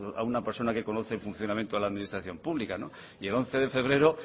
a una persona que conoce el funcionamiento de la administración pública y el once de febrero